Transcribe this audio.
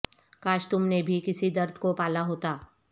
کاش تم نے بھی کسی درد کو پالا ہوتا